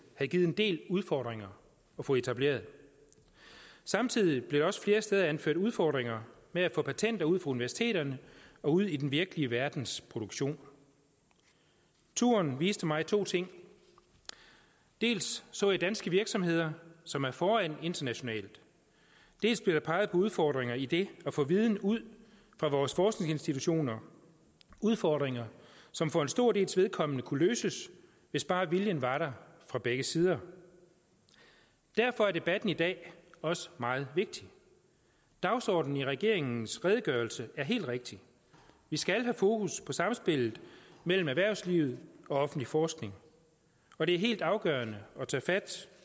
det givet en del udfordringer at få etableret samtidig blev der også flere steder anført udfordringer med at få patenter ud universiteterne og ud i den virkelige verdens produktion turen viste mig to ting dels så jeg danske virksomheder som er foran internationalt dels blev der peget på udfordringer i det at få viden ud fra vores forskningsinstitutioner udfordringer som for en stor dels vedkommende kunne løses hvis bare viljen var der fra begge sider derfor er debatten i dag også meget vigtig dagsordenen i regeringens redegørelse er helt rigtig vi skal have fokus på samspillet mellem erhvervsliv og offentlig forskning og det er helt afgørende at tage fat